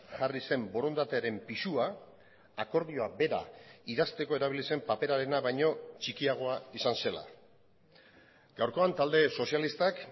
jarri zen borondatearen pisua akordioa bera idazteko erabili zen paperarena baino txikiagoa izan zela gaurkoan talde sozialistak